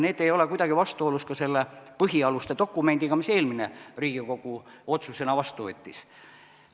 Need ei ole kuidagi vastuolus ka selle põhialuste dokumendiga, mis eelmine Riigikogu otsusena vastu võttis.